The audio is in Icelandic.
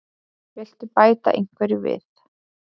Viltu bæta einhverju við?